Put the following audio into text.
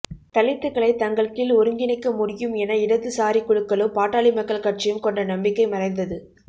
தலித்துக்களை தங்கள்கீழ் ஒருங்கிணைக்க முடியும் என இடதுசாரிக்குழுக்களும் பாட்டாளி மக்கள் கட்சியும் கொண்ட நம்பிக்கை மறைந்தது